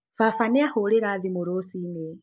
Baba nĩ ahũrĩra thimũ rũcinĩ.